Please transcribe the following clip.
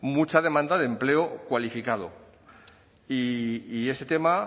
mucha demanda de empleo cualificado y ese tema